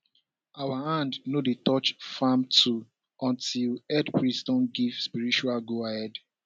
our hand no dey touch farm tool until head priest don give spiritual goahead